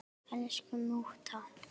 Elsku mútta.